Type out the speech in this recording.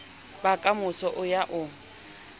ba kamoso o ya o